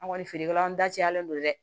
An kɔni feerekɛlaw dacɛlen don dɛ